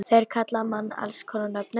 Þeir kalla mann alls konar nöfnum.